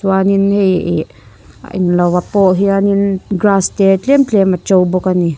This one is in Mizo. chuanin hei ih engloah pawh hianin grass te tlem tlem a to bawk a ni.